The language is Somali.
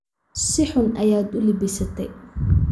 Si xun ayaad uu labisate